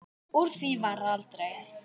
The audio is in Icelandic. Úr því varð aldrei.